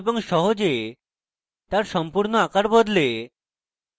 এবং সহজে তার সম্পূর্ণ আকার বদলে